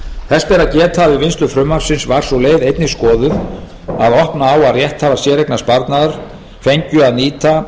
að geta að við vinnslu frumvarpsins var sú leið einnig skoðuð að opna á að rétthafar séreignarsparnaðar fengju að nýta